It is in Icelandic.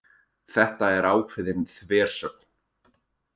Þetta er ákveðin þversögn